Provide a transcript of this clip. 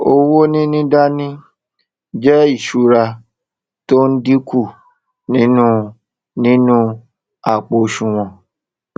owó níní dání jé ìsúra tó n dínkù nínú nínú àpò òsùwòn